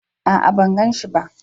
A'a, ban gan shi ba.